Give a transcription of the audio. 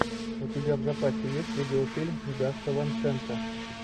у тебя в запасе есть видеофильм гаса ван сента